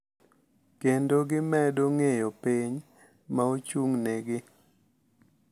Kendo gimedo ng’eyo piny ma ochung’negi.